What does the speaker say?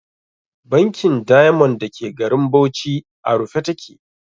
Bankin Diamond da ke garin Bauchi a rufe ta ke.